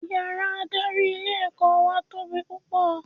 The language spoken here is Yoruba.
Yàrá adarí ilé ẹ̀kọ́ wà tóbi púpọ̀